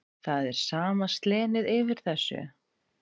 Það er sama slenið yfir þessu.